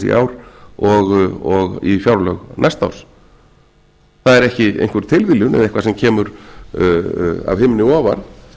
í ár og í fjárlög næsta árs það er ekki einhver tilviljun eða eitthvað sem kemur af himni ofan